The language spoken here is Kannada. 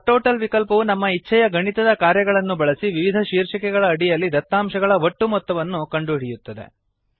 ಸಬ್ಟೋಟಲ್ ವಿಕಲ್ಪವು ನಮ್ಮ ಇಚ್ಛೆಯ ಗಣಿತದ ಕಾರ್ಯಗಳನ್ನು ಬಳಸಿ ವಿವಿಧ ಶೀರ್ಷಿಕೆಗಳ ಅಡಿಯಲ್ಲಿನ ದತ್ತಾಂಶಗಳ ಒಟ್ಟು ಮೊತ್ತವನ್ನು ಕಂಡುಹಿಡಿಯುತ್ತದೆ